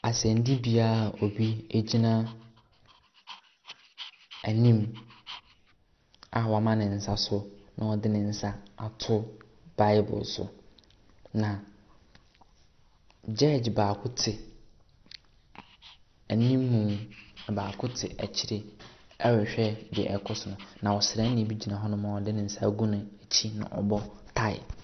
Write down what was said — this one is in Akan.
Asɛnnibea a obi gyina anim a wama ne nsa so na ɔde ne nsa ato Bible so. Na Jugde baako te anim na baako te akyire rehwɛ deɛ ɛrekɔ so. Na Ɔsrani bi gyina hɔnom a ɔde ne nsa agu n'akyi na ɔbɔ tae.